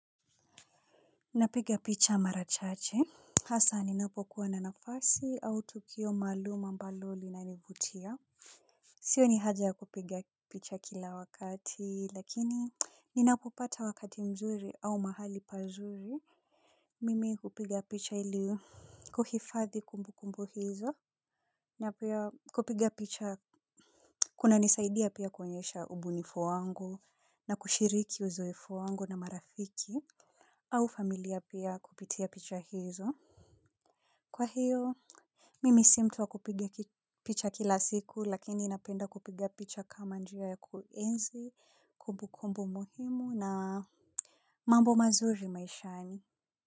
Napiga picha marachache hasa ninapokuwa na nafasi au tukio maalum ambalo linanivutia. Sioni haja ya kupiga picha kila wakati lakini ninapopata wakati mzuri au mahali pazuri. Mimi hupiga picha ili kuhifadhi kumbu kumbu hizo, napia kupiga picha kuna nisaidia pia kuonyesha ubunifu wangu na kushiriki uzoefu wangu na marafiki au familia pia kupitia picha hizo. Kwa hiyo, mimi si mtu wa kupiga picha kila siku lakini napenda kupiga picha kama njia ya kuenzi, kumbu kumbu muhimu na mambo mazuri maishani.